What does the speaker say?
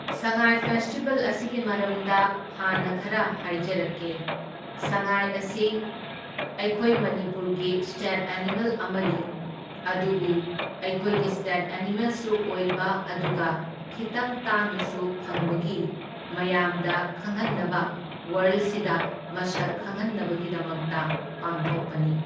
ꯁꯉꯥꯏ festival ꯑꯁꯤꯒꯤ ꯃꯔꯝꯗ ꯍꯥꯟꯅ ꯈꯔ ꯍꯥꯏꯖꯔꯛꯀꯦ, ꯁꯉꯥꯏ ꯑꯁꯤ ꯑꯩꯈꯣꯏ ꯃꯅꯤꯄꯨꯔꯒꯤ ꯁ꯭ꯇꯦꯠ ꯑꯦꯅꯤꯃꯦꯜ ꯑꯃꯅꯤ ꯑꯗꯨꯕꯨ ꯑꯩꯈꯣꯏꯒꯤ ꯁ꯭ꯇꯦꯠ ꯑꯦꯅꯤꯃꯦꯜꯁꯨ ꯑꯣꯏꯕ ꯑꯗꯨꯒ ꯈꯤꯇꯪ ꯇꯥꯡꯅꯁꯨ ꯐꯪꯕꯒꯤ ꯃꯌꯥꯝꯗ ꯈꯪꯍꯟꯅꯕ ꯋꯥꯔꯜꯁꯤꯗ ꯃꯁꯛ ꯈꯪꯍꯟꯅꯕꯒꯤꯗꯃꯛꯇ ꯄꯥꯡꯊꯣꯛꯄꯅꯤ꯫